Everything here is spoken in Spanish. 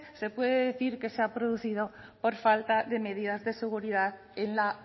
se puede decir que se ha producido por falta de medidas de seguridad en la